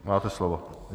Máte slovo.